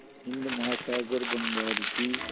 हिंद महासागर बंगाल की